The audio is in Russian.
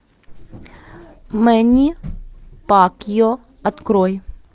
мэнни пакьяо открой